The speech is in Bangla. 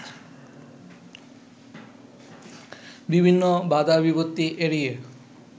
বিভিন্ন বাঁধা বিপত্তি এড়িয়ে